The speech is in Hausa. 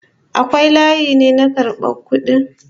Akwai layi ne na karban kudi??